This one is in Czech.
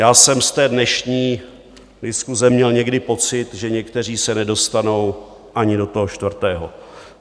Já jsem z té dnešní diskuse měl někdy pocit, že někteří se nedostanou ani do toho čtvrtého.